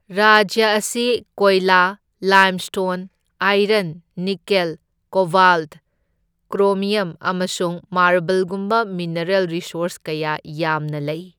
ꯔꯥꯖ꯭ꯌ ꯑꯁꯤ ꯀꯣꯏꯂꯥ, limestone, iron, nickel, cobalt, chromium ꯑꯃꯁꯨꯡ ꯃꯥꯔꯕꯜꯒꯨꯝꯕ ꯃꯤꯅꯔꯦꯜ ꯔꯤꯁꯣꯔꯁ ꯀꯌꯥ ꯌꯥꯝꯅ ꯂꯩ꯫